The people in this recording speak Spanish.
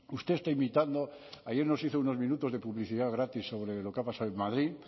usted está imitando ayer nos hizo unos minutos de publicidad gratis sobre lo que ha pasado en madrid